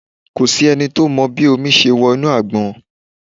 Kò sí ẹni tó mọ bí omi ṣe wọ inú àgbọn.